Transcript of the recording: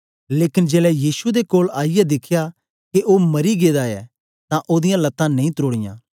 लेकन जेलै यीशु दे कोल आईयै दिखया के ओ मरी गेदा ऐ तां ओदीयां लतां नेई त्रोड़ीयां